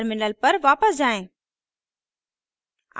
terminal पर वापस जाएँ